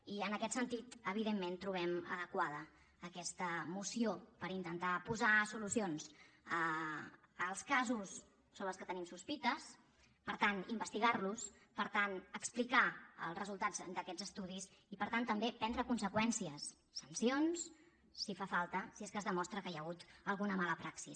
i en aquest sentit evidentment trobem adequada aquesta moció per intentar posar solucions als casos sobre què tenim sospites per tant investigar los per tant explicar els resultats d’aquests estudis i per tant també prendre conseqüències sancions si fa falta si és que es demostra que hi ha hagut alguna mala praxi